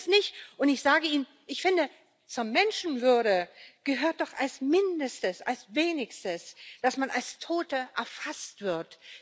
Die gibt es nicht, und ich sage Ihnen, ich finde, zur Menschenwürde gehört doch als Mindestes, als Wenigstes, dass man als Toter erfasst wird.